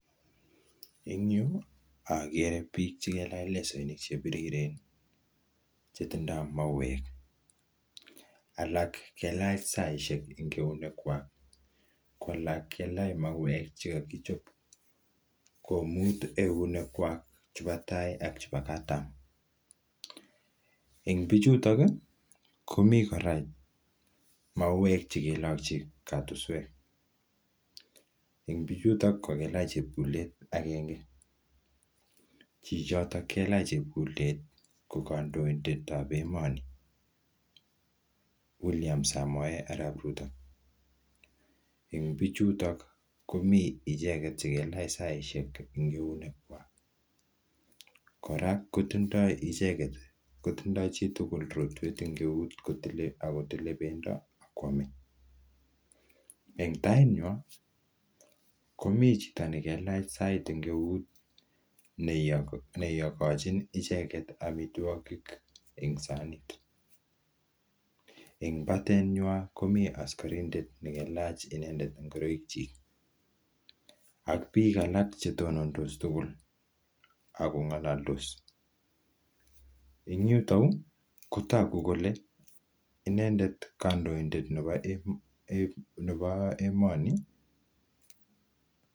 Eng yu, agere biik chekelach lesoinik che biriren che toindoi mauek. Alak kelach saishek ing eunek kwak. Ko alak, kelach mauek che kakichop komut eunek kwak chebo tai ak chebo katam. Eng bichutok, komi kora mauek che kelakchi katuswek. Eng bichutok, ko kelach chepkulet agenge. Chichotok kelach chepkulet, ko kandoidetab emoni, William Samoei Arap Ruto. Eng' bichutok, komi icheket che kelach saishek eng' eunek kwaak. Kora kotindoi icheket, kotindoi chitugul rotwet eng eut, kotile, akotile pendo akwame. Eng tait nywaa, komii chito ne kelach sait eng eut, ne um iyokochin icheket amitwogik eng' sanit. Eng batet nywa, komii askarindet ne kelach inendet ngoroik chik. Ak biik alak chetonondos tugul, akong'alaldos. Eng yutoyu, kotogu kole, inendet kandoidet nebo um nebo emoni